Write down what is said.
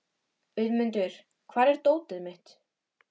Auðmundur, hvar er dótið mitt?